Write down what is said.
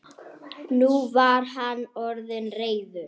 Nú var hann orðinn reiður.